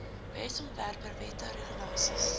wetsontwerpe wette regulasies